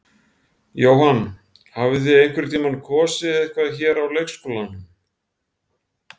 Jóhann: Hafið þið einhvern tímann kosið eitthvað hér á leikskólanum?